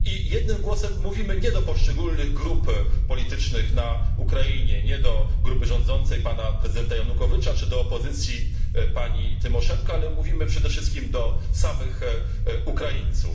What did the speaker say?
Jednym głosem mówimy nie do poszczególnych grup politycznych na Ukrainie, nie do grupy rządzącej pana prezydenta Janukowycza czy do opozycji pani Tymoszenko, ale mówimy przede wszystkim do samych Ukraińców.